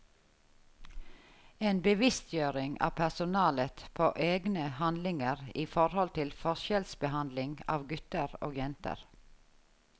En bevisstgjøring av personalet på egne handlinger i forhold til forskjellsbehandling av gutter og jenter.